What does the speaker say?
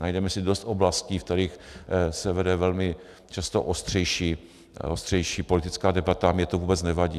Najdeme si dost oblastí, v kterých se vede velmi často ostřejší politická debata, a mně to vůbec nevadí.